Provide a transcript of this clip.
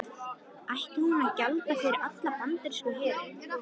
Átti hún að gjalda fyrir allan bandaríska herinn?